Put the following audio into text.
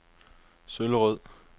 Søllerød